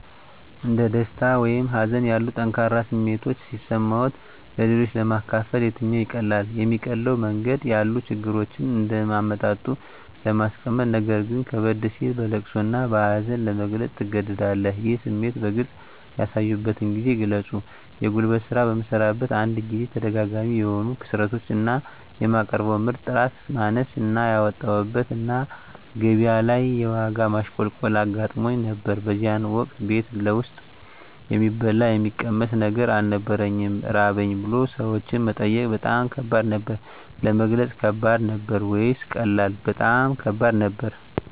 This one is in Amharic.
እንደ ደስታ ወይም ሀዘን ያሉ ጠንካራ ስሜቶች ሲሰማዎት-ለሌሎች ለማካፈል የትኛው ይቀላል? የሚቀለው መንገድ ያሉ ችግሮችን እንደ አመጣጡ ለማስቀመጥነገር ግን ከበድ ሲል በለቅሶ እና በሀዘን ለመግለፅ ትገደዳለህ ይህን ስሜት በግልጽ ያሳዩበትን ጊዜ ግለጹ የጉልት ስራ በምሰራበት አንድ ጊዜ ተደጋጋሚ የሆኑ ክስረቶች እና የማቀርበው ምርት ጥራት ማነስ እና ያወጣሁበት እና ገቢያ ላይ የዋጋ ማሽቆልቆል አጋጥሞኝ ነበር በዚያን ወቅት ቤት ውስጥ የሚበላ የሚቀመስ ነገር አልነበረኝም ራበኝ ብሎ ሰዎችን መጠየቅ በጣም ከባድ ነበር። ለመግለጽ ከባድ ነበር ወይስ ቀላል? በጣም ከባድ ነበር